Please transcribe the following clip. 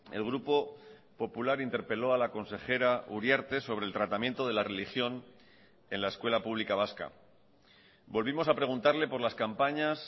el grupo popular interpeló a la consejera uriarte sobre el tratamiento de la religión en la escuela pública vasca volvimos a preguntarle por las campañas